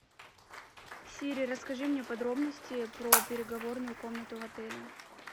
сири расскажи мне подробности про переговорную комнату в отеле